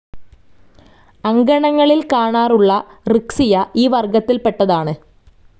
അങ്കണങ്ങളിൽ കാണാറുള്ള റിക്സിയ ഈ വർഗത്തിൽപെട്ടതാണ്.